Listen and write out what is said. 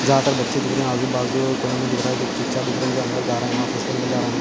यहापर बच्चे दिख रहे है आजु बाजु कोई नहीं दिख रहा है चचा दिख रहे है जो अंदर जा रहे है ऑफिस के अंदर जा रहे है।